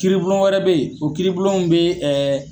Kiiribulon wɛrɛ be yen, o kiiribulonw bi ɛɛ